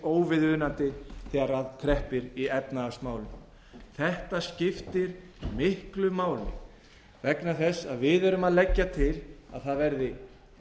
óviðunandi þegar að kreppir í efnahagsmálum þetta skiptir miklu máli vegna þess að við erum að leggja til að það verði